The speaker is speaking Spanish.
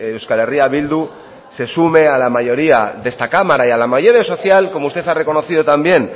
euskal herria bildu se sume a la mayoría de esta cámara y a la mayoría social como usted ha reconocido también